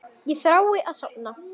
Ég þrái að sofna.